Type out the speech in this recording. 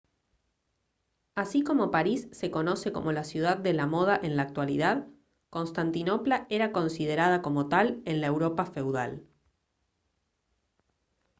así como parís se conoce como la ciudad de la moda en la actualidad constantinopla era considerada como tal en la europa feudal